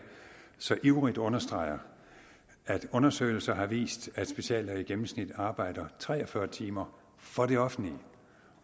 så ivrigt understreger at undersøgelser har vist at speciallæger i gennemsnit arbejder tre og fyrre timer for det offentlige